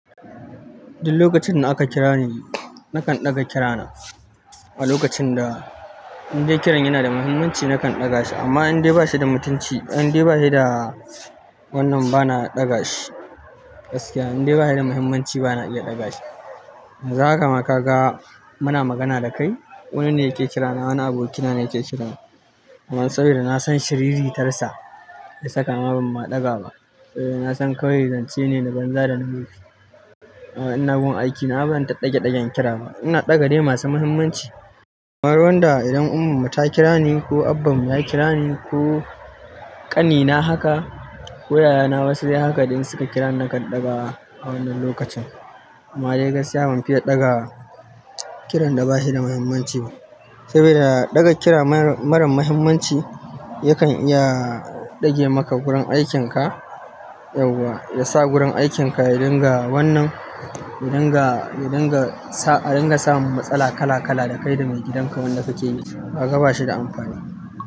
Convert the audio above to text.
Duk lokacin da aka kirani nakan ɗaga kirana. A lokacin da indai kiran yana da muhimmanci nakan ɗaga shi amma indai ba shi da mutunci, indai ba shi da wannan ba na ɗaga shi. Gaskiya indai ba shi da muhimmanci ba na iya ɗaga shi. Yanzu haka ma ka ga muna magana da kai. Wani ne yake kirana, wani abokina ne yake kiran na. Amma saboda na san shiriritarsa ya saka ma ba ma ɗaga ba. Eh, na san kawai zance ne na banza da na wofi. A'a ina gun aiki na ba zan ta ɗage ɗagen kira ba. Ina ɗaga dai masu muhimmanci. Kamar wanda idan umma mu ta kira ni ko abban mu ya kira ni ko ƙanina haka ko yaya na wasu dai haka da insu suka kira ni nakan ɗaga a wannan lokacin. Amma dai gaskiya ban fiya ɗaga kiran da ba shi da muhimmanci ba. Saboda ɗaga kira mara muhimmanci yakan iya ɗage maka gurin aikin ka yauwa, ya sa gurin aikin ka ya dinga wannan, ya dinga, ya dinga sa, a dinga sa matsala kala kala da kai da maigidan ka wanda ka ke ne. Haka ba shi da amfani.